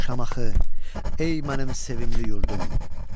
Şamaxı, ey mənim sevimli yurdum.